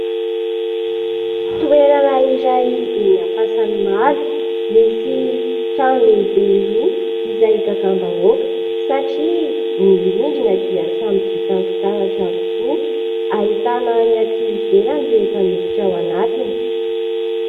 Toerana iray eny Ampasanimalo, misy trano lehibe roa izay igagam-bahoaka, satria ny rindrina dia samy vita amin'ny fitaratra avokoa, ahitana ny aty ivelany rehefa miditra ao anatiny.